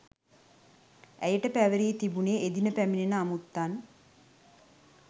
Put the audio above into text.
ඇයට පැවරී තිබුණේ එදින පැමිණෙන අමුත්තන්